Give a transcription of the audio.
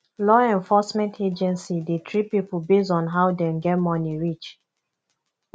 law enforcement agency de treat pipo based on how dem get money reach